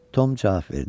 Tom cavab verdi.